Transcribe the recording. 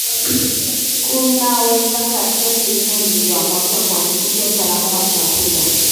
Kuwekeza katika kilimo ni njia moja ya kuhakikisha usalama wa chakula.